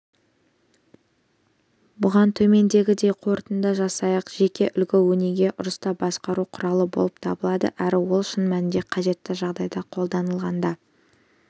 бұған төмендегідей қорытынды жасайық жеке үлгі-өнеге ұрыста басқару құралы болып табылады әрі ол шын мәнінде қажетті жағдайда қолданылғанда